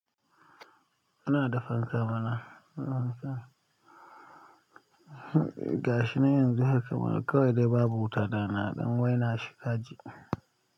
Ina da fanka mama. Muna so gashi nan yanzu haka ma kawai dai babu wuta da na don waina shi kaji.